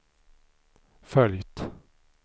följt